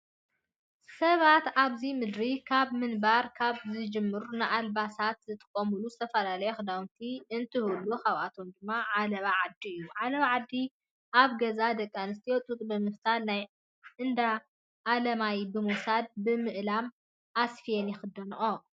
ሰባት ኣብዚ ምድሪ ካብ ምንባር ካብ ዝጅምር ንኣልባሳት ዝጥቀምሎም ዝተፈላለዩ ክዳውንቲ እንትህሉ ካብኣቶም ድማ ኣለባ ዓዲ እዩ። ኣለባ ዓዲ ኣብ ገዛ ደቂ ኣንስትዮ ጡጥ ብምፍታልን ናብ እንዳ ኣላማይ ብምውሳድ ብምእላም ኣስፍየን ይኽደነኦ።